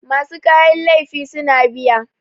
masu kayan laifi suna biya